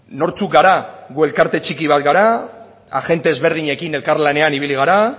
nortzuk gara gu elkarte txiki bat gara agente ezberdinekin elkarlanean ibili gara